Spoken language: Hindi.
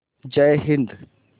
जय हिन्द